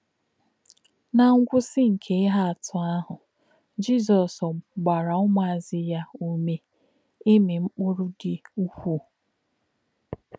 Ná̄ ngwụ̀sí̄ nké̄ íhè̄ àtụ̀ àhū̄, Jizọ́s gbà̄rà̄ ṹmù̄àzù̄ yá̄ ùmè̄ ìmī̄ “mkpụ̀rụ́ dì̄ ũ̀kwú̄.”